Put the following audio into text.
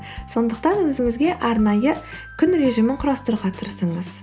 сондықтан өзіңізге арнайы күн режимін құрастыруға тырысыңыз